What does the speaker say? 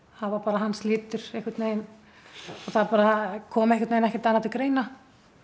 það var bara hans litur það bara kom ekkert annað til greina